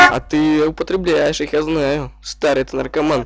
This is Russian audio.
а ты употребляешь их я старый ты наркоман